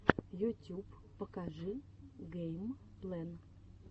ютюб покажи гэймплэн